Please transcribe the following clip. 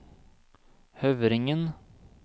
Høvringen